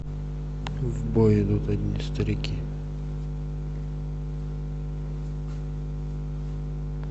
в бой идут одни старики